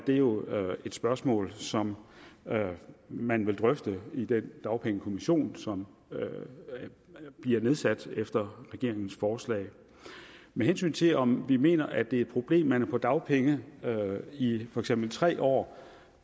det jo et spørgsmål som man vil drøfte i den dagpengekommission som bliver nedsat efter regeringens forslag med hensyn til om vi mener at det er et problem at man er på dagpenge i for eksempel tre år